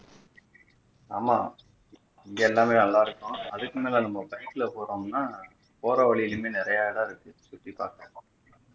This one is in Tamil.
ஆமா இங்க எல்லாமே நல்லா இருக்கும் அதுக்கு மேல நம்ம bike ல போறோம்னா போற வழியில இருந்தே நிறைய இடம் இருக்கு சுத்தி பார்க்க